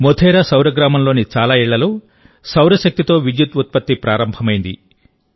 మోధేరా సౌరగ్రామంలోని చాలా ఇళ్లలో సౌర శక్తి తో విద్యుత్ ఉత్పత్తి ప్రారంభమైంది